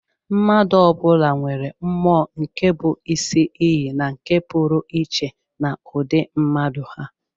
Mmadụ ọ bụla nwere mmụọ nke bụ isi iyi nke pụrụ iche na ụdị mmadụ ha.